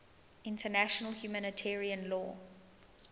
international humanitarian law